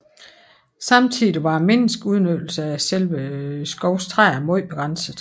Samtidig var menneskets udnyttelse af selve skovens træer meget begrænset